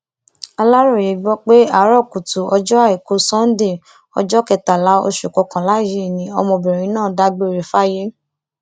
aláròye gbọ pé àárò kùtù ọjọ àìkú sànńdé ọjọ kẹtàlá oṣù kọkànlá yìí ni obìnrin náà dágbére fáyé